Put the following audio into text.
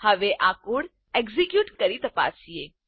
હવે આ code execute કરી તપાસીએ